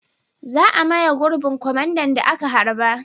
Za a maye gurbin kwamandan da aka harba.